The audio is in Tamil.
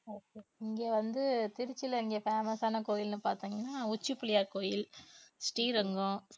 okay okay இங்க வந்து திருச்சியில இங்க famous ஆன கோயில்ன்னு பாத்தீங்கன்னா உச்சி பிள்ளையார் கோவில், ஸ்ரீரங்கம்